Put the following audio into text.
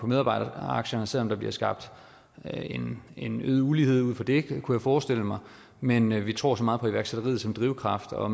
medarbejderaktierne selv om der bliver skabt en øget ulighed ud fra det kunne jeg forestille mig men vi tror så meget på iværksætteriet som drivkraft og